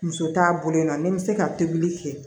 Muso t'a bolo yen nɔ ni n bɛ se ka tobili kɛ